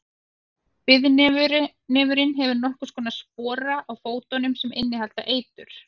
breiðnefurinn hefur nokkurs konar spora á fótunum sem innihalda eitur